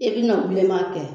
I bɛna bilenma kɛ